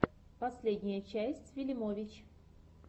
последняя часть вилимович